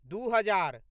दू हजार